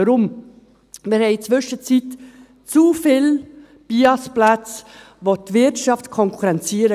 Weshalb? – Wir haben in der Zwischenzeit zu viel BIASPlätze, welche die Wirtschaft konkurrenzieren.